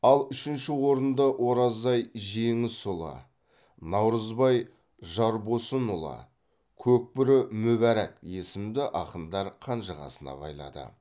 ал үшінші орынды оразай жеңісұлы наурызбай жарбосынұлы көкбөрі мүбарак есімді ақындар қанжығасына байлады